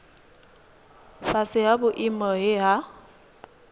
fhasi ha vhuimo he ha